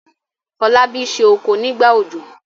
Folabi se okò nígbà òjò.